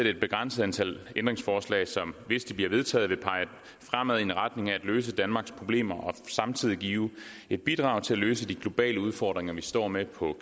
et begrænset antal ændringsforslag som hvis de bliver vedtaget vil pege fremad i en retning af at løse danmarks problemer og samtidig give et bidrag til at løse de globale udfordringer vi står med på